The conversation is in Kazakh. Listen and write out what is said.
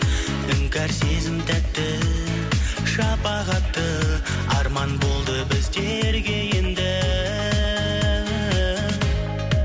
іңкәр сезім тәтті шапағатты арман болды біздерге енді